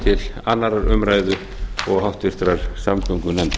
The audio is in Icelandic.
til annarrar umræðu og háttvirtrar samgöngunefndar